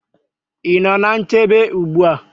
Ị nọ ná nchebe ugbu a?